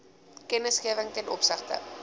kennisgewing ten opsigte